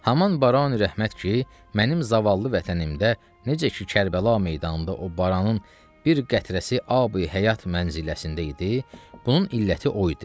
Haman barani rəhmət ki, mənim zavallı vətənimdə necə ki Kərbəla meydanında o baranın bir qətrəsi abi həyat mənziləsində idi, bunun illəti o idi.